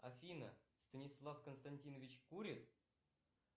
афина станислав константинович курит